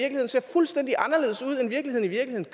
fuldstændig anderledes ud end virkeligheden